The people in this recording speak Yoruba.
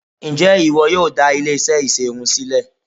Ǹjẹ́ ìwọ yóò dá ilé-iṣẹ́ ìṣerun sílẹ̀?